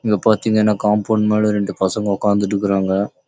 இங்க பாத்தீங்கன்னா காம்பௌண்ட் மேலே ரெண்டு பசங்க உக்காந்துருக்காங்க